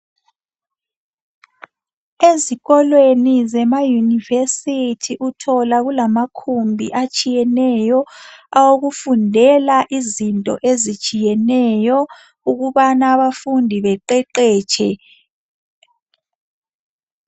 Ezikolweni zemayunivesithi uthola kulamakhumbi atshiyeneyo awokufundela izinto ezitshiyeneyo ukubana abafundi beqeqetshe.